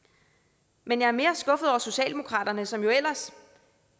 men jeg er mere skuffet over socialdemokraterne som jo ellers